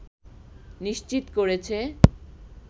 নিশ্চিত করেছে